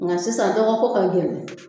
Nka sisan dɔgɔko ka gɛlɛn